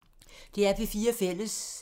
DR P4 Fælles